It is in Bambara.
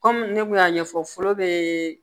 Kɔmi ne kun y'a ɲɛfɔ foro be